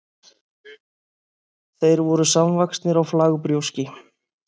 þeir voru samvaxnir á flagbrjóski